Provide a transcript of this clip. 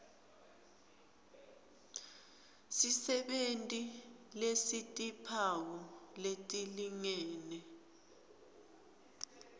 sisebenti lesitimphawu letilingene